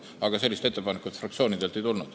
Aga sellist ettepanekut fraktsioonidelt ei tulnud.